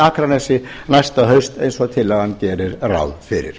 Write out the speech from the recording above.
akranesi næsta haust eins og tillagan gerir ráð fyrir